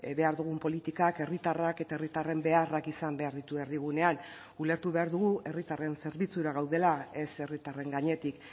behar dugun politikak herritarrak eta herritarren beharrak izan behar ditu erdigunean ulertu behar dugu herritarren zerbitzura gaudela ez herritarren gainetik